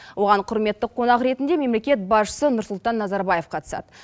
оған құрметті қонақ ретінде мемлекет басшысы нұрсұлтан назарбаев қатысады